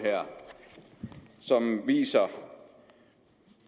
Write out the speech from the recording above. som viser